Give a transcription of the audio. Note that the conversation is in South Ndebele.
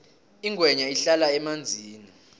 ingwenya ihlala emanzini